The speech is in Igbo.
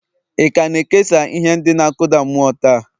ị ka na-ekesa ihe ndị na-akụda mmụọ taa?